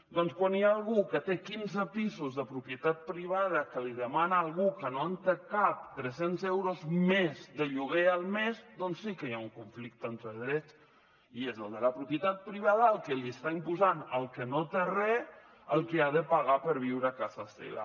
doncs quan hi ha algú que té quinze pisos de propietat privada que li demana a algú que no en té cap tres cents euros més de lloguer al mes doncs sí que hi ha un conflicte entre drets i és el de la propietat privada el que li està imposant al que no té re el que ha de pagar per viure a casa seva